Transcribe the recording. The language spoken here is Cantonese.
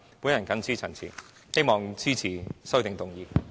我謹此陳辭，希望大家支持我的修正案。